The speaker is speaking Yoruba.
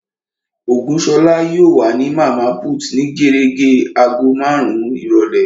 Ògúnṣọlá yóò wà ní Màmá put ní gérégé agogo marun-un ìrọ̀lẹ́